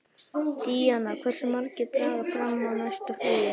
Díanna, hversu margir dagar fram að næsta fríi?